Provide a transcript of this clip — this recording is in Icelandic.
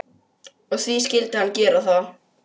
Og því skyldi hann gera það.